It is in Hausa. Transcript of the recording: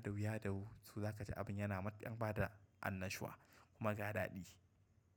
dahu ya dahu, so zaka ji abun yana matukar bada annashuwa kuma ga dadi.